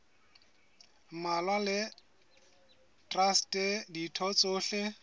mmalwa le traste ditho tsohle